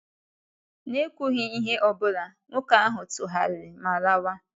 N’ekwughị ihe ọ bụla, nwoke ahụ tụgharịrị ma lawa.